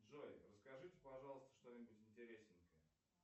джой расскажите пожалуйста что нибудь интересненькое